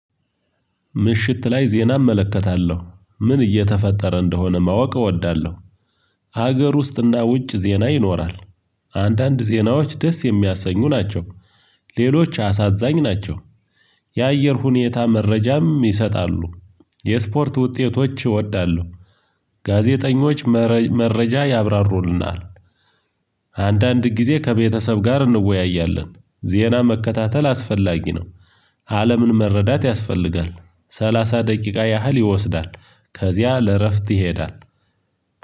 ምሽት ላይ ዜና እመለከታለሁ ምን እየተፈጠረ እንደሆነ ማወቅ እወዳለሁ። ሀገር ውስጥና ውጭ ዜና ይኖራል አንዳንድ ዜናዎች ደስ የሚያሰኙ ናቸው። ሌሎች አሳዛኝ ናቸው የአየር ሁኔታ መረጃም ይሰጣሉ የስፖርት ውጤቶች እወዳለሁ ጋዜጠኞች መረጃ ያብራሩልናል። አንዳንድ ጊዜ ከቤተሰብ ጋር እንወያያለን ዜና መከታተል አስፈላጊ ነው። አለምን መረዳት ያስፈልጋል ሰላሳ ደቂቃ ያህል ይወስዳል ከዚያ ለእረፍት ይሄዳል